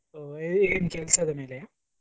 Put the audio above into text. ಏನ್ ಕೆಲ್ಸದ ಮೇಲೆಯಾ?